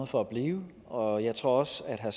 for at blive og jeg tror også at